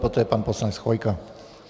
Poté pan poslanec Chvojka.